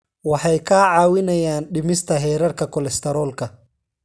Waxay kaa caawinayaan dhimista heerarka kolestaroolka.